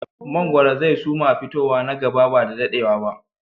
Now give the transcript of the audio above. Mangoro zai su ma fitowa na gaba ba da daɗewa ba